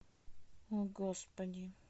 о господи